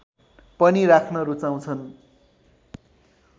पनि राख्न रुचाउँछन्